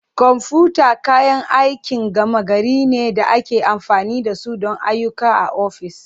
Kwamfuta kayan aikin gama gari ne da ake amfani da su don ayyuka a ofis.